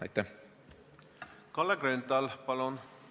Kalle Grünthal, palun!